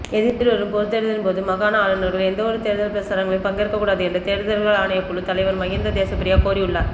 எதிர்வரும் பொதுத்தேர்தலின்போது மாகாண ஆளுநர்கள் எந்தவொரு தேர்தல் பிரசாரங்களிலும் பங்கேற்கக்கூடாது என்று தேர்தல்கள் ஆணைக்குழு தலைவர் மஹிந்த தேசப்பிரிய கோரியுள்ளார்